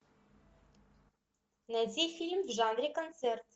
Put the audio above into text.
найди фильм в жанре концерт